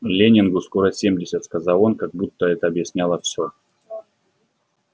лэннингу скоро семьдесят сказал он как будто это объясняло всё